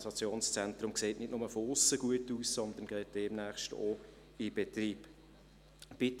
Das Translationszentrum sieht nicht nur von aussen gut aus, sondern es nimmt demnächst auch den Betrieb auf.